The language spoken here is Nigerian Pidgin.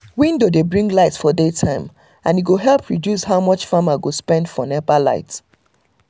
window dey bring light for day time and e go help reduce how much farmer go spend for nepa light